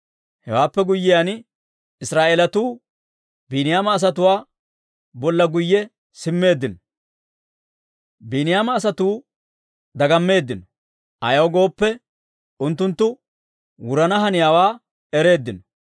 Hewaappe guyyiyaan, Israa'eelatuu Biiniyaama asatuwaa bolla guyye simmeeddino; Biiniyaama asatuu dagammeeddino; ayaw gooppe, unttunttu wurana haniyaawaa ereeddino.